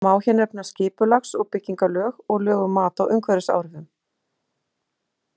Má hér nefna skipulags- og byggingarlög og lög um mat á umhverfisáhrifum.